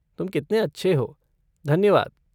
तुम कितने अच्छे हो! धन्यवाद!